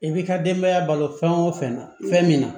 I b'i ka denbaya balo fɛn o fɛn na fɛn min na